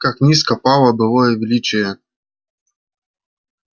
как низко пало былое величие